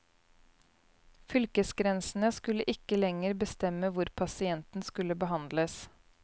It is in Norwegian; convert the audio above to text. Fylkesgrensene skulle ikke lenger bestemme hvor pasienten skulle behandles.